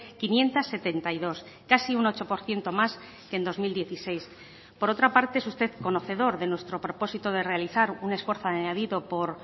quinientos setenta y dos casi un ocho por ciento más que en dos mil dieciséis por otra parte es usted conocedor de nuestro propósito de realizar un esfuerzo añadido por